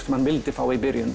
sem hann vildi fá í byrjun